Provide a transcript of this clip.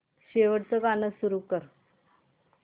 शेवटचं गाणं सुरू कर